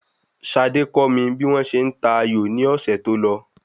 Sade kọ́ mi bí wọ́n ṣe n ta ayò ni ọ̀sẹ̀ tó lọ